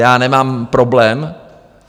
Já nemám problém.